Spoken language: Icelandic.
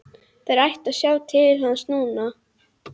Þeir ættu að sjá til hans núna.